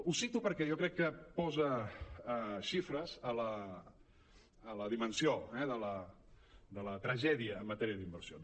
ho cito perquè jo crec que posa xifres a la dimensió eh de la tragè·dia en matèria d’inversions